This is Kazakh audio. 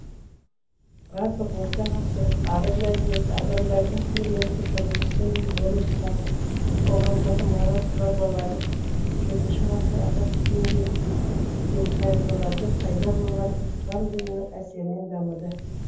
барлық орта ғасырлық араб мәдениеті адамдардың күнделікті тұрмысы мен өмір салты қоғамдағы мораль нормалары жетінші ғасыр араб түбегіндегі тайпаларда пайда болған ислам дінінің әсерінен дамыды